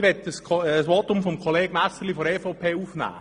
Ich möchte nun ein Votum von Kollege Messerli von der EVP aufnehmen.